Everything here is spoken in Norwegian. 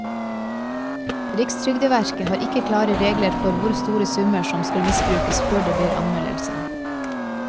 Rikstrygdeverket har ikke klare regler for hvor store summer som skal misbrukes før det blir anmeldelse.